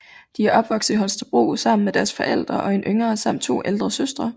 De er opvokset i Holstebro sammen med deres forældre og en yngre samt to ældre søstre